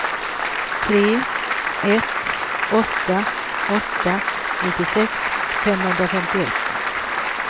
tre ett åtta åtta nittiosex femhundrafemtioett